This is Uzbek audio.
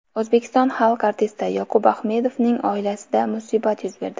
O‘zbekiston xalq artisti Yoqub Ahmedovning oilasida musibat yuz berdi.